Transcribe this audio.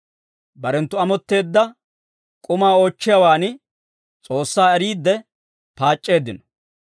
Barenttu amotteedda k'umaa oochchiyaawan S'oossaa eriidde paac'c'eeddino.